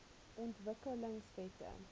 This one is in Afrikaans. ontwikkelingwette